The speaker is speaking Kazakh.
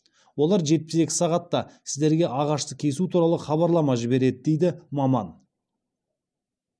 олар жетпіс екі сағатта сіздерге ағашты кесу туралы хабарлама жібереді дейді маман